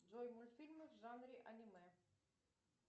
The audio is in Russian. джой мультфильмы в жанре аниме